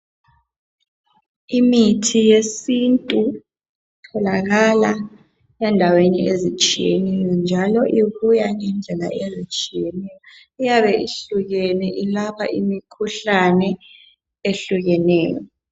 Imithi yesintu itholakala endaweni ezitshiyeneyo njalo ibuya ngezindlela ezitshiyeneyo iyabe ihlukene ilapha imikhuhlane ehlukeneyo